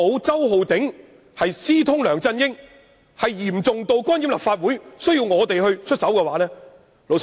周浩鼎議員私通梁振英，嚴重至干預立法會，才需要我們出手。